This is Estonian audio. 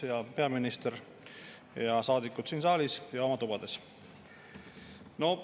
Hea peaminister ja saadikud siin saalis ja oma tubades!